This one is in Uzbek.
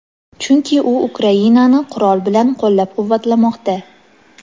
chunki u Ukrainani qurol bilan qo‘llab-quvvatlamoqda.